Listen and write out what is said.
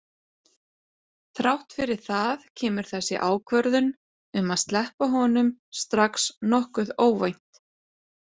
Þrátt fyrir það kemur þessi ákvörðun um að sleppa honum strax nokkuð óvænt.